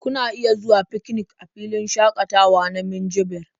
Kuna iya zuwa fikinik a filin shaƙatawa na Minjibir.